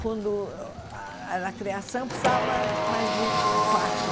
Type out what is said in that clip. Quando ah era criação, precisava mais de quatro.